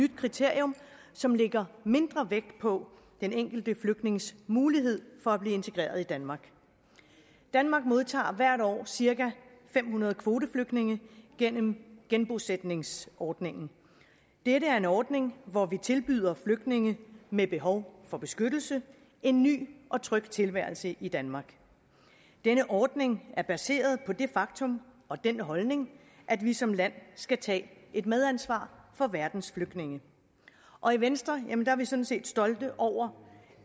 nyt kriterium som lægger mindre vægt på den enkelte flygtnings mulighed for at blive integreret i danmark danmark modtager hvert år cirka fem hundrede kvoteflygtninge gennem genbosætningsordningen det er en ordning hvor vi tilbyder flygtninge med behov for beskyttelse en ny og tryg tilværelse i danmark denne ordning er baseret på det faktum og den holdning at vi som land skal tage et medansvar for verdens flygtninge og i venstre er vi sådan set stolte over